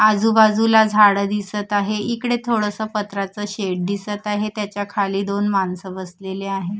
आजूबाजूला झाड दिसत आहे इकडे थोडसं पत्राच शेड दिसत आहे त्याच्या खाली दोन माणसं बसलेले आहेत.